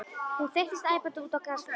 Hún þeyttist æpandi út á grasflöt.